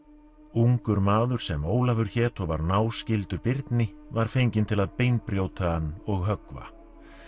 ungur maður sem Ólafur hét og var náskyldur Birni var fenginn til að beinbrjóta hann og höggva